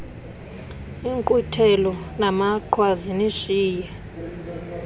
inkqwithelo namaqhwa zinishiye